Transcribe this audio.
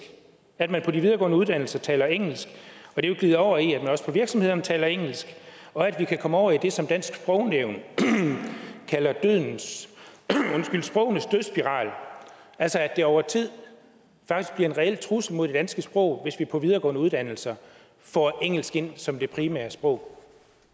at man på de videregående uddannelser taler engelsk og det vil glide over i at man også på virksomhederne taler engelsk og at vi kan komme over i det som dansk sprognævn kalder sprogenes dødsspiral altså at det over tid faktisk bliver en reel trussel mod det danske sprog hvis vi på de videregående uddannelser får engelsk ind som det primære sprog